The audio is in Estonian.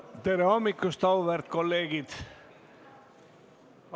Tere hommikust, auväärt kolleegid!